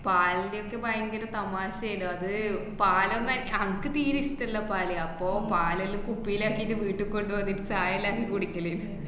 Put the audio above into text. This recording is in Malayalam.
പാൽന്‍റേത് ഭയങ്കരം തമാശേന്. അത് പാലൊന്നും അന്‍~ അനക്ക് തീരെ ഇഷ്ടല്ല പാല്. അപ്പോ പാലെല്ലോ കുപ്പീലാക്കീട്ട് വീട്ടിക്കൊണ്ടുവന്നിട്ട് ചായെല്ലാം കുടിക്കല്.